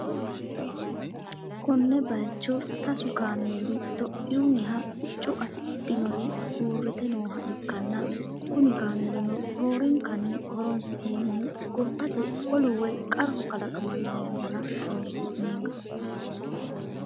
konne bayicho sasu kaameeli itiyoophiyunniha sicco qassidhinori uurrite nooha ikkanna, kuni kaameelino roorenkanni horonsi'neemmohu gobbate olu woy qarru kalaqamanno yannara horonsi'neeemmo.